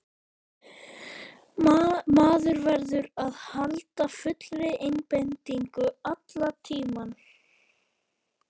Maður verður að halda fullri einbeitingu allan tímann.